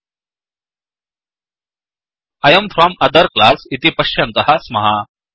I am from other classआय् am from other class इति पश्यन्तः स्मः